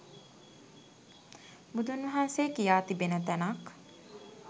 බුදුන් වහන්සේ කියා තිබෙන තැනක්